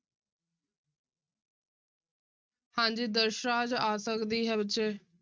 ਹਾਂਜੀ ਆ ਸਕਦੀ ਹੈ ਬੱਚੇ।